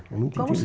É muito